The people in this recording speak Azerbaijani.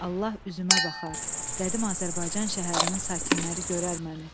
Allah üzümə baxar, qədim Azərbaycan şəhərinin sakinləri görər məni.